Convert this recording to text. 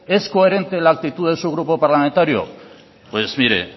es coherente la actitud de su grupo parlamentario pues mire